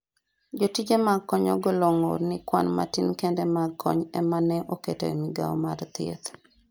jotije mag kony ogolo ng'ur ni kwan matin kende mag kony ema ne oket e migawo mar thieth